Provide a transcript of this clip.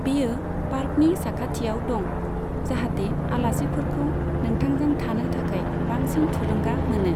बेयो पार्कनि साखाथियाव दं, जाहाते आलासिफोरखौ नोंथांजों थानो थाखाय बांसिन थुलुंगा मोनो।